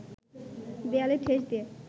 দেয়ালে ঠেস দিয়ে